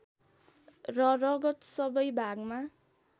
र रगत सबै भागमा